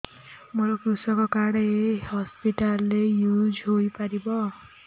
ମୋର କୃଷକ କାର୍ଡ ଏ ହସପିଟାଲ ରେ ୟୁଜ଼ ହୋଇପାରିବ